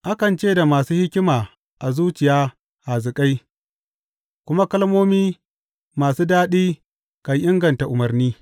Akan ce da masu hikima a zuciya hazikai, kuma kalmomi masu daɗi kan inganta umarni.